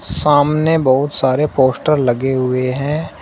सामने बहुत सारे पोस्टर लगे हुए हैं।